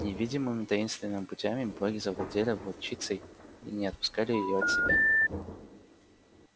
невидимыми таинственными путями боги завладели волчицей и не отпускали её от себя